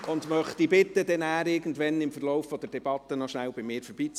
Ich möchte Sie bitten, nachher im Verlauf der Debatte rasch bei mir vorbeizukommen;